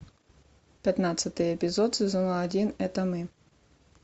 пятнадцатый эпизод сезона один это мы